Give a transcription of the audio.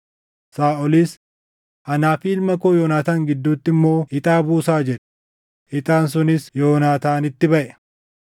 Saaʼolis, “Anaa fi ilma koo Yoonaataan gidduutti immoo ixaa buusaa” jedhe. Ixaan sunis Yoonaataanitti baʼe.